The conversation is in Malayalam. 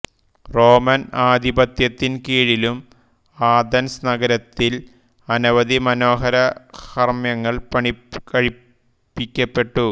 റോമൻ ആധിപത്യത്തിൻകീഴിലും ആഥൻസ് നഗരത്തിൽ അനവധി മനോഹര ഹർമ്മ്യങ്ങൾ പണികഴിപ്പിക്കപ്പെട്ടു